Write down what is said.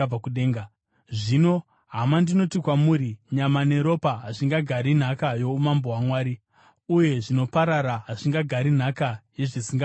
Zvino, hama, ndinoti kwamuri nyama neropa hazvingagari nhaka youmambo hwaMwari, uye zvinoparara hazvingagari nhaka yezvisingaparari.